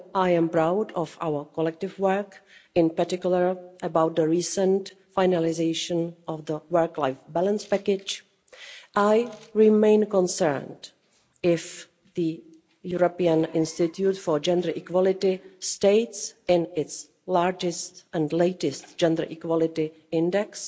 While I am proud of our collective work, in particular about the recent finalisation of the work-life balance package, I remain concerned, as the European Institute for Gender Equality states in its largest and latest Gender Equality Index,